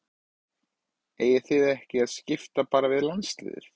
Eigið þið þá ekki að skipta bara við landsliðið?